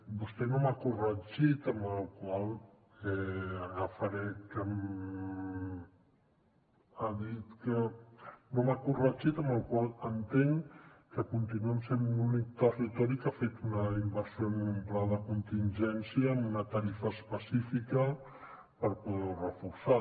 vostè no m’ha corregit amb la qual cosa entenc que continuem sent l’únic territori que ha fet una inversió en un pla de contingència amb una tarifa específica per poder ho reforçar